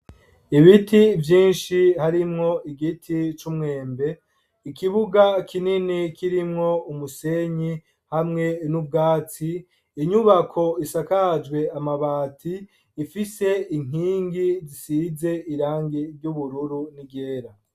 Ibiti vyinshi harimwo igiti c'umwembe, ikibuga kinini kirimwo umusenyi hamwe n'ubwatsi, inyubako isakajwe amabati ifise inkingi zisize irangi ry'ubururu n'iryera.